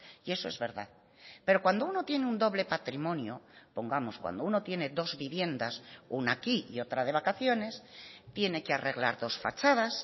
y eso es verdad pero cuando uno tiene un doble patrimonio pongamos cuando uno tiene dos viviendas una aquí y otra de vacaciones tiene que arreglar dos fachadas